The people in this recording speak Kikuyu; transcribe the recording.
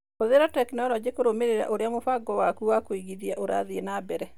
Hũthĩra tekinironjĩ kũrũmĩrĩra ũrĩa mũbango waku wa kũigithia ũrathiĩ na mbere.